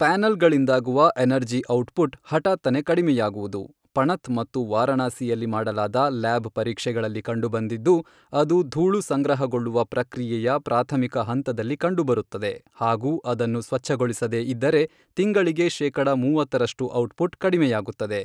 ಪ್ಯಾನೆಲ್ಗಳಿಂದಾಗುವ energy output, ಹಠಾತ್ತನೆ ಕಡಿಮೆಯಾಗುವುದು, ಪಣತ್ ಮತ್ತು ವಾರಣಾಸಿಯಲ್ಲಿ ಮಾಡಲಾದ ಲ್ಯಾಬ್ ಪರೀಕ್ಷೆಗಳಲ್ಲಿ ಕಂಡುಬಂದಿದ್ದು, ಅದು ಧೂಳು ಸಂಗ್ರಹಗೊಳ್ಳುವ ಪ್ರಕ್ರಿಯೆಯ ಪ್ರಾಥಮಿಕ ಹಂತದಲ್ಲಿ ಕಂಡುಬರುತ್ತದೆ ಹಾಗೂ ಅದನ್ನು ಸ್ವಚ್ಛಗೊಳಿಸದೇ ಇದ್ದರೆ ತಿಂಗಳಿಗೆ ಶೇಕಡ ಮೂವತ್ತರಷ್ಟು ಔಟ್ಪುಟ್ ಕಡಿಮೆಯಾಗುತ್ತದೆ.